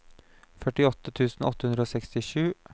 førtiåtte tusen åtte hundre og sekstisju